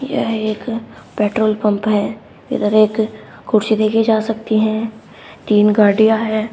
यह एक petrol pump है इधर एक कुर्सी देखी जा सकती हैं तीन गाड़ियां है।